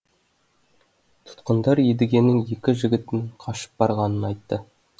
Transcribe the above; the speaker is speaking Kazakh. тұтқындар едігенің екі жігітінің қашып барғанын айтты